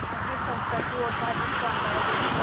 वहाँ की संस्कृति और धार्मिक परम्पराएं देश भर